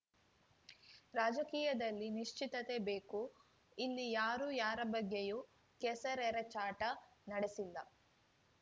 ರಾಜಕೀಯದಲ್ಲಿ ನಿಶ್ಚಿತತೆ ಬೇಕು ಇಲ್ಲಿ ಯಾರೂ ಯಾರ ಬಗ್ಗೆಯೂ ಕೆಸರೆರಚಾಟ ನಡೆಸಿಲ್ಲ